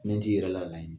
Min t'i yɛrɛ laɲinɛ